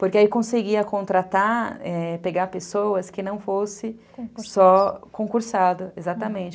Porque aí conseguia contratar, é... pegar pessoas que não fossem só concursadas, exatamente.